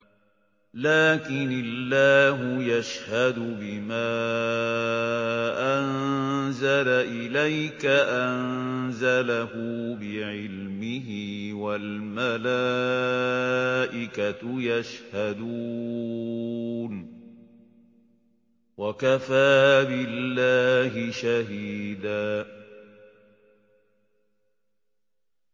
لَّٰكِنِ اللَّهُ يَشْهَدُ بِمَا أَنزَلَ إِلَيْكَ ۖ أَنزَلَهُ بِعِلْمِهِ ۖ وَالْمَلَائِكَةُ يَشْهَدُونَ ۚ وَكَفَىٰ بِاللَّهِ شَهِيدًا